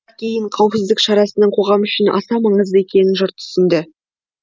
кейін қауіпсіздік шарасының қоғам үшін аса маңызды екенін жұрт түсінді